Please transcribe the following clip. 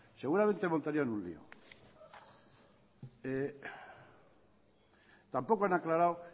seguramente montarían un lío tampoco han aclarado